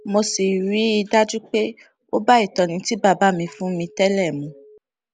mo sì rí i dájú pé ó bá ìtọni tí bàbá mi fún mi tẹlẹ mu